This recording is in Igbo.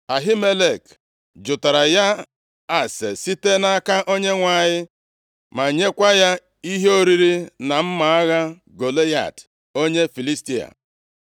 Ahimelek jụtaara ya ase site nʼaka Onyenwe anyị, ma nyekwa ya ihe oriri na mma agha Golaịat onye Filistia.”